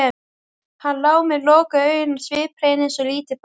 Hann lá með lokuð augun sviphreinn eins og lítið barn.